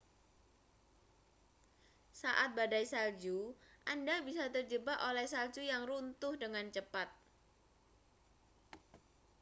saat badai salju anda bisa terjebak oleh salju yg runtuh dengan cepat